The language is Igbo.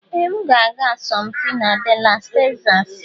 Ee! M ga-aga asọmpi na Dallas Texas.